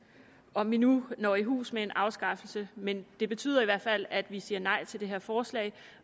om vi nu når i hus med en afskaffelse men det betyder i hvert fald at vi siger nej til det her forslag